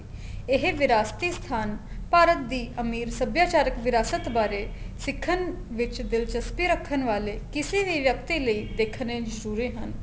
ਇਹ ਵਿਰਾਸਤੀ ਸਥਾਨ ਭਾਰਤ ਦੀ ਅਮੀਰ ਸਭਿਆਚਾਰਕ ਵਿਰਾਸਤ ਬਾਰੇ ਸਿੱਖਣ ਵਿੱਚ ਦਿਲਚਸਪੀ ਰੱਖਣ ਵਾਲੇ ਕਿਸੇ ਵੀ ਵਿਅਕਤੀ ਲਈ ਦੇਖਣੇ ਮਸੁਰੇ ਹਨ